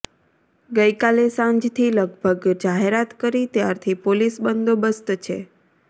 ગઈકાલે સાંજથી લગભગ જાહેરાત કરી ત્યારથી પોલીસ બંદોબસ્ત છે